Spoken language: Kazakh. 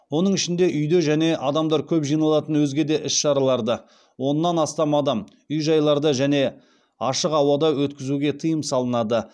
оның ішінде үйде және адамдар көп жиналатын өзге де іс шараларды үй жайларда және ашық ауада өткізуге тыйым салынады